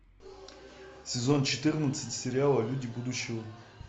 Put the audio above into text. сезон четырнадцать сериала люди будущего